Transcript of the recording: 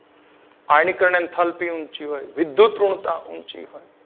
આયનીકરણ enthalpy ઊંચી હોય અને વિદ્યૂત ઋણતા ઊંચી હોય